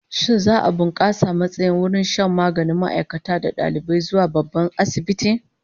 Shin za'a bunkasa matsayin wurin shan maganin ma'aikata da dalibai zuwa babban asibiti?